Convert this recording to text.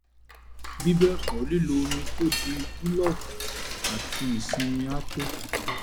bí bẹ́ẹ̀ kọ́ lílo omi tó di búlọ́ọ̀kù àti ìsinmi á tó